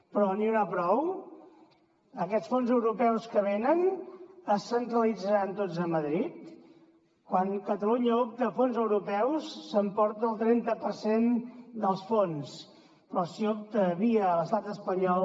però n’hi haurà prou aquests fons europeus que venen es centralitzaran tots a madrid quan catalunya opta a fons europeus s’emporta el trenta per cent dels fons però si opta via l’estat espanyol